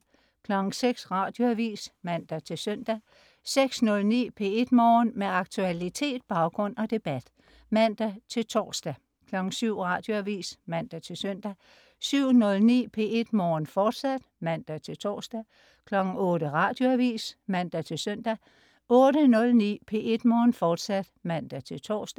06.00 Radioavis (man-søn) 06.09 P1 Morgen. Med aktualitet, baggrund og debat (man-tors) 07.00 Radioavis (man-søn) 07.09 P1 Morgen, fortsat (man-tors) 08.00 Radioavis (man-søn) 08.09 P1 Morgen, fortsat (man-tors)